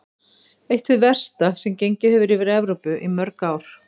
Eitt hið versta sem gengið hefur yfir Evrópu í mörg ár.